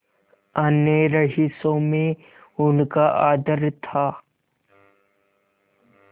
अन्य रईसों में उनका आदर था